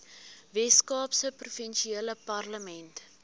weskaapse provinsiale parlement